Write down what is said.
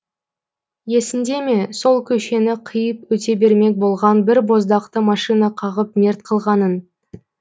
есіңде ме сол көшені қиып өте бермек болған бір боздақты машина қағып мерт қылғанын